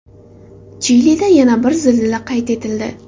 Chilida yana bir zilzila qayd etildi.